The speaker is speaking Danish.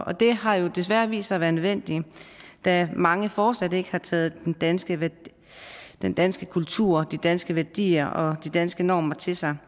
og det har desværre vist sig at være nødvendigt da mange fortsat ikke har taget den danske den danske kultur og de danske værdier og de danske normer til sig